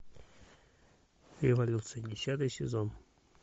эволюция десятый сезон